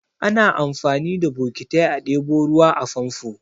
Ana amfani da bokitai a ɗebo ruwa a famfo.